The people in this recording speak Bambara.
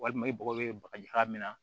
Walima i mago bɛ bagaji ka minna